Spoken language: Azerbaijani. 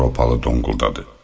Avropalı donquldadı.